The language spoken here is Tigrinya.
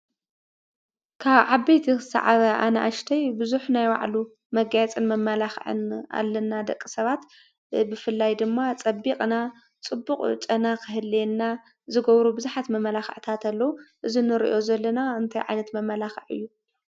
ካብ ዓበይቲ እስካብ ኣናኡሽተይ ብዙሕ ናይ ባዕሉ መጋየፅን መመላኽዕን ኣለና። ደቂ ሰባት ብፍላይ ድማ ፀቢቕና ፣ፅቡቕ ጨና ክህልየና ዝገብሩ ብዙሓት መመላኽዕታት ኣለዉ። እዚ ንሪኦ ዘለና እንታይ ዓይነት መመላኽዒ እዩ?